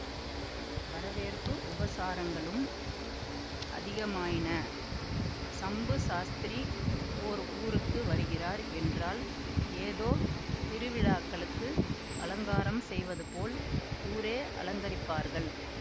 வரவேற்பு உபசாரங்களும் அதிகமாயின சம்பு சாஸ்திரி ஓர் ஊருக்கு வருகிறார் என்றால் ஏதோ திருவிழாக்களுக்கு அலங்காரம் செய்வதுபோல் ஊரே அலங்கரிப்பார்கள்